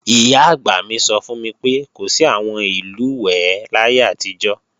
Ìyá-àgbà mi sọ fún mi pé, kò sí àwọn ìlùwẹ̀ẹ̀ láyé àtijọ́